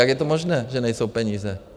Jak je to možné, že nejsou peníze?